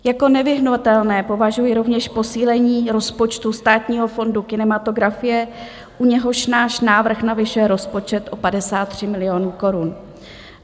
Jako nevyhnutelné považuji rovněž posílení rozpočtu Státního fondu kinematografie, u něhož náš návrh navyšuje rozpočet o 53 milionů korun.